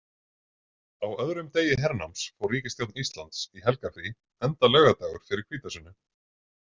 Á öðrum degi hernáms fór ríkisstjórn Íslands í helgarfrí enda laugardagur fyrir hvítasunnu.